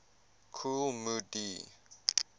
kool moe dee